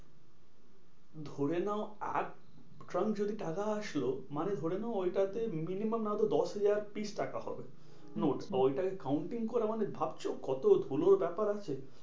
ধরে নাও আট trunk যদি টাকা আসলো মানে ধরে নাও ওইটা তে minimum না হলেও দশহাজার piece টাকা হবে। নোট আচ্ছা ওইটাকে counting করা মানে ভাবছো? কত ধুলোর ব্যাপার আছে?